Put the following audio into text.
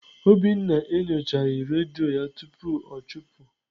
Obinna enyochaghị redio ya tupu ọ chụpụ.